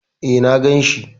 E, na gan shi.